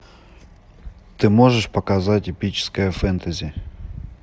ты можешь показать эпическое фэнтези